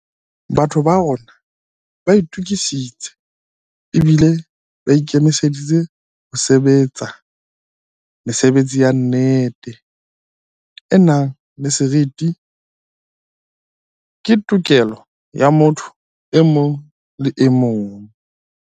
Batho ba rona ba itukisitse ebile ba ikemiseditse ho sebe tsa. Mesebetsi ya nnete, e nang le seriti, ke tokelo ya motho e mong le emong.